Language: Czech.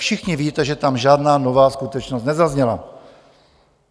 Všichni víte, že tam žádná nová skutečnost nezazněla.